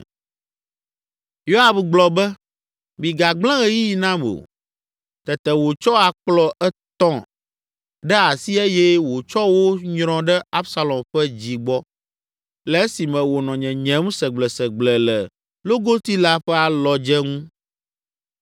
Yoab gblɔ be, “Migagblẽ ɣeyiɣi nam o.” Tete wòtsɔ akplɔ etɔ̃ ɖe asi eye wòtsɔ wo nyrɔ ɖe Absalom ƒe dzi gbɔ, le esime wònɔ nyenyem segblesegble le logoti la ƒe alɔdze ŋu.